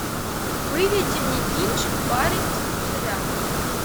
выведи мне кинчик парень из пузыря